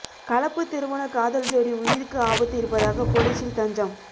கலப்பு திருமண காதல் ஜோடி உயிருக்கு ஆபத்து இருப்பதாக போலீசில் தஞ்சம்